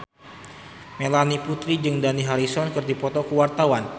Melanie Putri jeung Dani Harrison keur dipoto ku wartawan